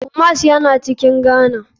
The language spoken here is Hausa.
Kumasi na cikin ghana.